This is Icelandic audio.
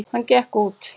Hann gekk út.